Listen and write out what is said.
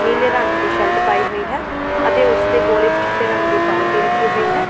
ਨੀਲੇ ਰੰਗ ਦੀ ਸ਼ਰਟ ਪਾਈ ਹੋਈ ਹੈ ਅਤੇ ਉਸ ਦੇ ਕੋਲ ਇੱਕ ਚਿੱਟੇ ਰੰਗ ਦੀ ਬਾਲਟੀ ਰੱਖੀ ਹੋਈ ਹੈ।